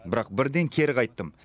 бірақ бірден кері қайттым